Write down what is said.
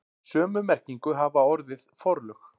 Sömu merkingu hefur orðið forlög.